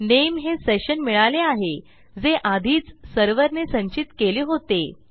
नामे हे सेशन मिळाले आहे जे आधीच सर्व्हर ने संचित केले होते